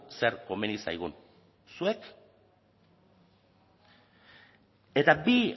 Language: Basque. zer komeni zaigun zuek eta bi